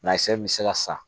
min bɛ se ka san